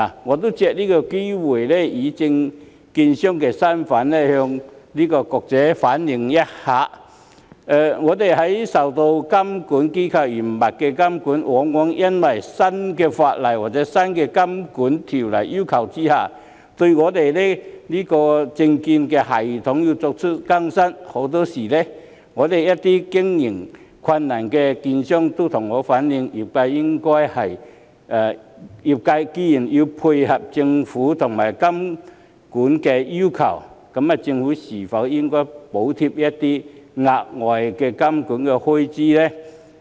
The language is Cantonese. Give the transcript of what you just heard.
我也希望藉此機會以證券商的身份向局長反映，我們受監管機構嚴密監管，往往要因應新法例或在新監管要求下，更新自己的證券系統，很多時一些經營困難的券商都向我反映，業界既然要配合政府和監管要求，政府是否應該補貼一些額外的監管開支呢？